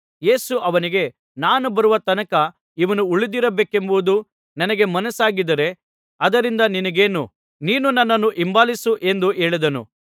ಯೇಸು ಅವನಿಗೆ ನಾನು ಬರುವ ತನಕ ಇವನು ಉಳಿದಿರಬೇಕೆಂಬುದು ನನಗೆ ಮನಸ್ಸಾಗಿದ್ದರೆ ಅದರಿಂದ ನಿನಗೇನು ನೀನು ನನ್ನನ್ನು ಹಿಂಬಾಲಿಸು ಎಂದು ಹೇಳಿದನು